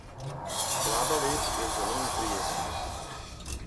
Slaba vest je zelo neprijetna.